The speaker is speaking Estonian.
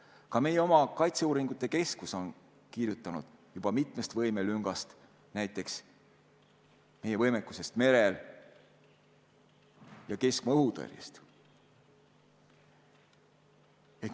Ka meie oma kaitseuuringute keskus on kirjutanud mitmest võimelüngast, näiteks meie vähesest võimekusest merel ja keskmaa-õhutõrjes.